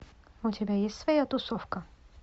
у тебя есть своя тусовка